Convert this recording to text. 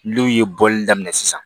N'u ye bɔli daminɛ sisan